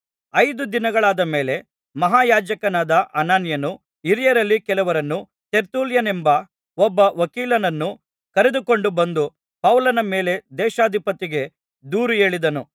ಐದು ದಿನಗಳಾದ ಮೇಲೆ ಮಹಾಯಾಜಕನಾದ ಅನನೀಯನು ಹಿರಿಯರಲ್ಲಿ ಕೆಲವರನ್ನೂ ತೆರ್ತುಲ್ಯನೆಂಬ ಒಬ್ಬ ವಕೀಲನನ್ನೂ ಕರೆದುಕೊಂಡು ಬಂದು ಪೌಲನ ಮೇಲೆ ದೇಶಾಧಿಪತಿಗೆ ದೂರು ಹೇಳಿದನು